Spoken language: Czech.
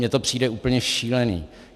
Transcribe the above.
Mně to přijde úplně šílený.